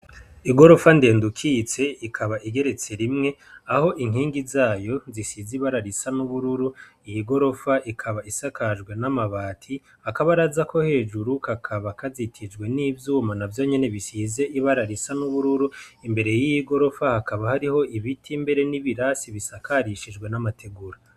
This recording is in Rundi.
Igorofa ndende ukitse ikaba igeretse rimwe aho inkingi zayo zisize ibara risa n'ubururu iyi gorofa ikaba isakajwe n'amabati, akabaraza ko hejuru kakaba kazitijwe n'ivyuma navyo nyene bisize ibara risa n'ubururu imbere yiyi gorofa hakaba hariho ibiti mbere n'ibirasi bisakarishijwe n'amategura.